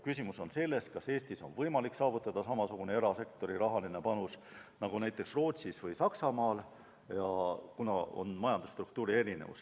Küsimus on selles, kas Eestis on võimalik saavutada samasugune erasektori rahaline panus nagu Rootsis või Saksamaal, sest majandusstruktuurid on erinevad.